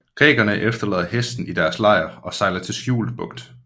Grækerne efterlader hesten i deres lejr og sejler til skjult bugt